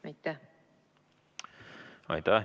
Aitäh!